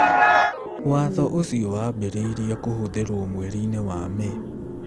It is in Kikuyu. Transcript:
Watho ũcio wambĩrĩirie kũhũthĩrwo mweri-inĩ wa May.